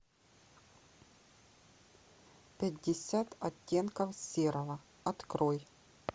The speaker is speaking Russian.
пятьдесят оттенков серого открой